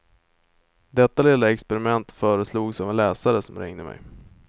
Detta lilla experiment föreslogs av en läsare som ringde mig.